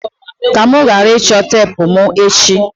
ka mụ ghara ịchọ teepu mụ echi!